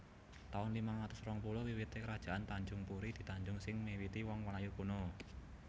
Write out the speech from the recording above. taun limang atus rong puluh WiwitéKerajaan Tanjungpuri di Tanjung sing miwiti wong Melayu kuno